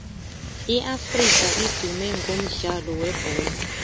iafrika idume ngomdlalo webholo